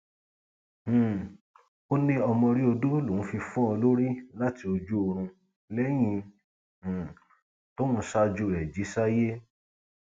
um ó ní ọmọrí odò lòún fi fọ ọ lórí láti ojú oorun lẹyìn um tóun ṣáájú rẹ jí sáyé